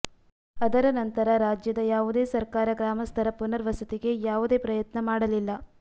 ಅದರ ನಂತರ ರಾಜ್ಯದ ಯಾವುದೇ ಸರ್ಕಾರ ಗ್ರಾಮಸ್ಥರ ಪುನರ್ವಸತಿಗೆ ಯಾವುದೇ ಪ್ರಯತ್ನ ಮಾಡಲಿಲ್ಲ